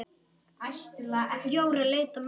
Jóra leit á ömmu.